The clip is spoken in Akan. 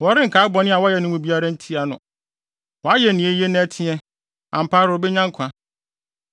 Wɔrenkae bɔne a wayɛ no mu biara ntia no. Wayɛ nea eye na ɛteɛ, ampa ara obenya nkwa.